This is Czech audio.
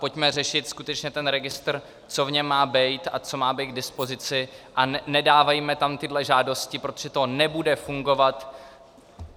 Pojďme řešit skutečně ten registr, co v něm má být a co má být k dispozici, a nedávejme tam tyto žádosti, protože to nebude fungovat.